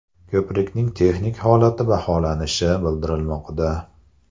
Ko‘prikning texnik holati baholanishi bildirilmoqda.